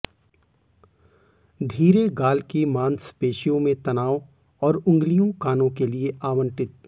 धीरे गाल की मांसपेशियों में तनाव और उंगलियों कानों के लिए आवंटित